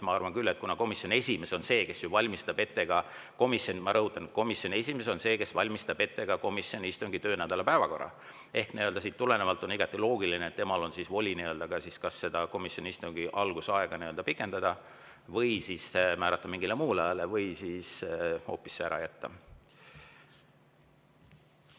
Ma arvan küll, et kuna komisjoni esimees on see, kes ju valmistab ette ka komisjoni töönädala päevakorra, siis siit tulenevalt on igati loogiline, et temal on voli ka kas komisjoni istungi alguse aega, määrata istung mingile muule ajale või see hoopis ära jätta.